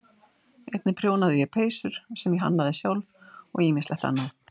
Einnig prjónaði ég peysur sem ég hannaði sjálf og ýmislegt annað.